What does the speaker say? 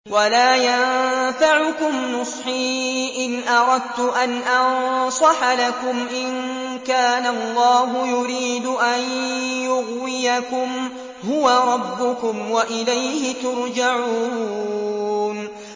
وَلَا يَنفَعُكُمْ نُصْحِي إِنْ أَرَدتُّ أَنْ أَنصَحَ لَكُمْ إِن كَانَ اللَّهُ يُرِيدُ أَن يُغْوِيَكُمْ ۚ هُوَ رَبُّكُمْ وَإِلَيْهِ تُرْجَعُونَ